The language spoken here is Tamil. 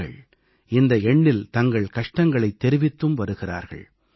மக்கள் இந்த எண்ணில் தங்கள் கஷ்டங்களைத் தெரிவித்தும் வருகிறார்கள்